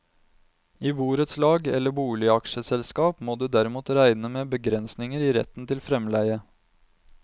I borettslag eller boligaksjeselskap må du derimot regne med begrensninger i retten til fremleie.